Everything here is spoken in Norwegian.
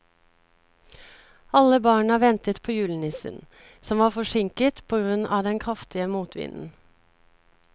Alle barna ventet på julenissen, som var forsinket på grunn av den kraftige motvinden.